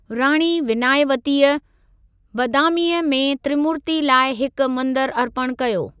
राणी विनायवतीअ, बादामीअ में त्रिमूर्ति लाइ हिक मंदरु अर्पणु कयो।